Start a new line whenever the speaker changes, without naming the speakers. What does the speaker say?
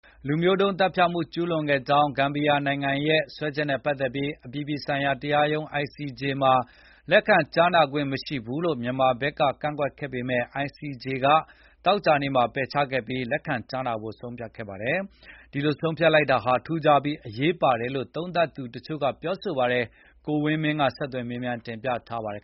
လူမျိုးတုံး သတ်ဖြတ်မှု ကျူးလွန်ခဲ့ကြောင်း ဂမ်ဘီယာနိုင်ငံရဲ့ စွဲချက်နဲ့ ပတ်သက်ပြီး အပြည်ပြည်ဆိုင်ရာ တရားရုံး ICJ မှာ လက်ခံကြားနာခွင့်မရှိဘူးလို့ မြန်မာဘက်က ကန့်ကွက်ခဲ့ပေမယ့် ICJ က သောကြာနေ့က ပယ်ချခဲ့ပြီး လက်ခံကြားနာဖို့ ဆုံးဖြတ်လိုက်ပါတယ်။ ဒီလို ဆုံးဖြတ်လိုက်တာဟာ ထူးခြားပြီး အရေးပါတယ်လို့ သုံးသပ်သူတချို့က ပြောပါတယ်
။ ကိုဝင်းမင်းက ဆက်သွယ် မေးမြန်းတင်ပြထားပါတယ်